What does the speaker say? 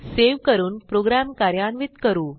save करून program कार्यान्वित करू